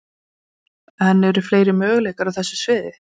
En eru fleiri möguleikar á þessu sviði?